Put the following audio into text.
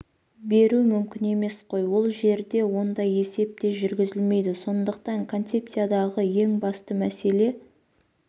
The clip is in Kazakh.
беру мүмкін емес қой ол жерде ондай есеп те жүргізілмейді сондықтан концепциядағы ең басты мәселе